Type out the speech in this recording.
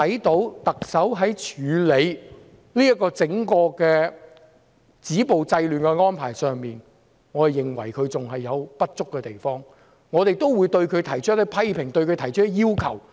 特首在整個止暴制亂的安排上，我們認為她還有處理不足的地方，我們會對她提出一些批評和要求。